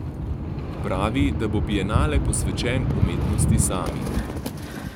Pravi, da bo bienale posvečen umetnosti sami.